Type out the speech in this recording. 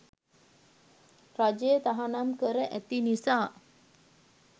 රජය තහනම් කර ඇති නිසා